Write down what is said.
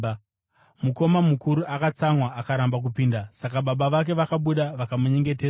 “Mukoma mukuru akatsamwa akaramba kupinda. Saka baba vake vakabuda vakamunyengetedza.